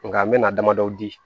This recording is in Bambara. Nka n bɛna damadɔ di